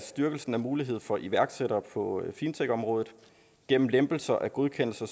styrkelsen af muligheden for iværksættere på fintechområdet gennem lempelser af godkendelser